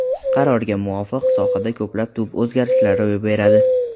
Qarorga muvofiq, sohada ko‘plab tub o‘zgarishlar ro‘y beradi.